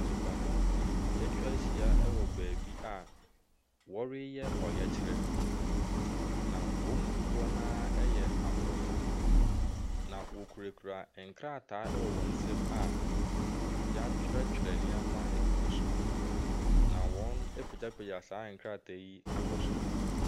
Nipadɔm bi ɛtwa ɛhyia wɔ baabi a ɔreyɛ ɔyɛkyerɛ na wɔn mu dodoɔ naa ɛyɛ abrɔfo na ɔkurekura nkrataa ɛwɔ wɔn nsɛm a yatwerɛtwerɛ nneɛma ɛgugu so na wɔn apegyapegya saa nkrataa yi akɔ soro.